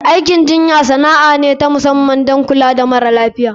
Aikin jinya sana'a ce ta musamman don kula da mara lafiya.